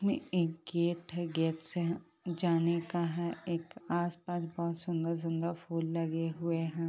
में एक गेट है गेट से जाने का है एक आसपास बहुत सुंदर-सुंदर फूल लगे हुए है।